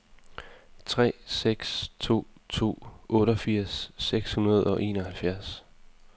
tre seks to to otteogfirs seks hundrede og enoghalvfjerds